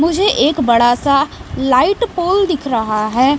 मुझे एक बड़ा सा लाइट पोल दिख रहा है।